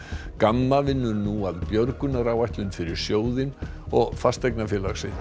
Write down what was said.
gamma vinnur nú að fyrir sjóðinn og fasteignafélag sitt